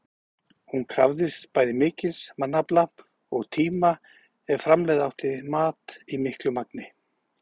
Hún krafðist bæði mikils mannafla og tíma ef framleiða átti mat í miklu magni.